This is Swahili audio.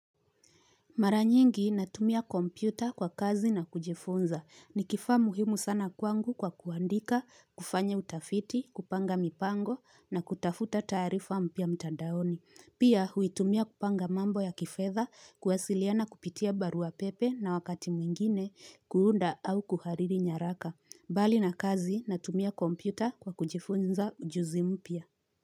Mara nyingi natumia kompyuta kwa kazi na kujifunza. Ni kifaa muhimu sana kwangu kwa kuandika, kufanya utafiti, kupanga mipango na kutafuta taarifa mpya mtandaoni. Pia huitumia kupanga mambo ya kifedha, kuwasiliana kupitia barua pepe na wakati mwingine, kuunda au kuhariri nyaraka. Bali na kazi natumia kompyuta kwa kujifunza ujuzi mpya.